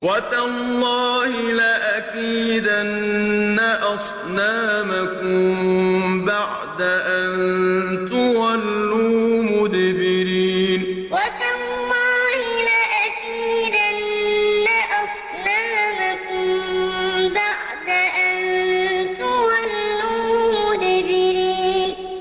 وَتَاللَّهِ لَأَكِيدَنَّ أَصْنَامَكُم بَعْدَ أَن تُوَلُّوا مُدْبِرِينَ وَتَاللَّهِ لَأَكِيدَنَّ أَصْنَامَكُم بَعْدَ أَن تُوَلُّوا مُدْبِرِينَ